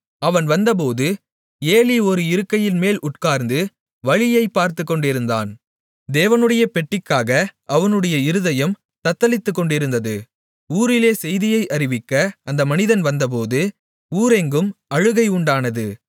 அவன் வந்தபோது ஏலி ஒரு இருக்கையின்மேல் உட்கார்ந்து வழியைப் பார்த்துக்கொண்டிருந்தான் தேவனுடைய பெட்டிக்காக அவனுடைய இருதயம் தத்தளித்துக்கொண்டிருந்தது ஊரிலே செய்தியை அறிவிக்க அந்த மனிதன் வந்தபோது ஊரெங்கும் அழுகை உண்டானது